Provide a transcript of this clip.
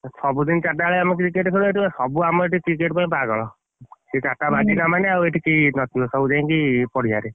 ସବୁଦିନ ଚାରଟା ବେଳେ ଆମେ cricket ଖେଳୁ ଏଠି ବା ସବୁ ଆମ cricket ପାଇଁ ପାଗଳ ସେ ଚାରିଟା ବାଜିଲା ମାନେ ଏଠି କେହି ନଥିବେ ସବୁ ଯାଇକି ପଡିଆରେ,